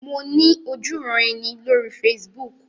Mo ní ojúuran-ẹni lórí Facebook.